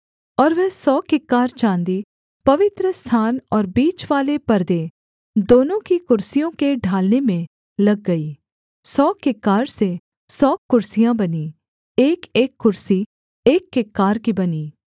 और वह सौ किक्कार चाँदी पवित्रस्थान और बीचवाले पर्दे दोनों की कुर्सियों के ढालने में लग गई सौ किक्कार से सौ कुर्सियाँ बनीं एकएक कुर्सी एक किक्कार की बनी